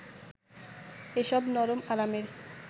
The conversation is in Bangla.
এসব নরম আরামের